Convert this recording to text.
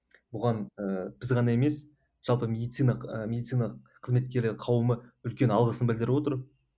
бұған ыыы біз ғана емес жалпы медицина ы медицина қызметкерлер қауымы үлкен алғысын білдіріп отыр